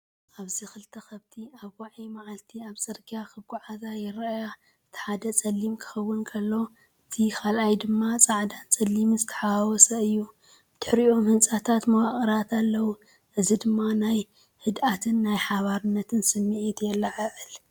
ኣብዚ ክልተ ከብቲ ኣብ ዋዒ መዓልቲ ኣብ ጽርግያ ክጓዓዛ ይረኣያ። እቲ ሓደ ጸሊም ክኸውን ከሎ፡ እቲ ካልኣይ ድማ ጻዕዳን ጸሊምን ዝተሓዋወሰ እዩ። ብድሕሪኦም ህንጻታት መዋቕራት ኣለዉ። እዚ ድማ ናይ ህድኣትን ናይ ሓባርነትን ስምዒት የለዓዕል።